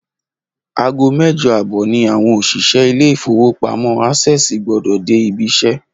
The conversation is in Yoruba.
Aago méje àbò̩ ni àwo̩n òs̩ìs̩é̩ ilé ìfowópamó̩ Access gbó̩dò̩ dé ibi is̩é̩